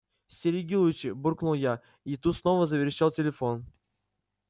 стереги лучше буркнул я и тут снова заверещал телефон